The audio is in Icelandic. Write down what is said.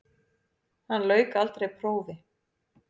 Hann lauk aldrei prófi.